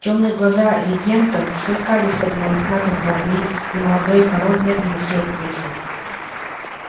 тёмные глаза регента сверкали из-под мохнатых бровей и молодой король медленно сел в кресло